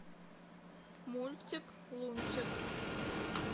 мультик лунтик